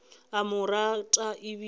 a mo rata e bile